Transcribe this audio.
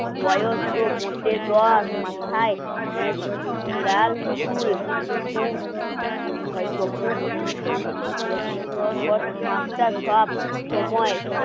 বয়স তো মোটে দশ মাথায় অ্যাঁ লাল চুল একটা সময় পর পরনে এক্সট্রা খানিক লাভ